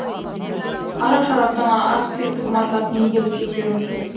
арақ шараптың акциздік маркасын неге біз тексеруіміз керек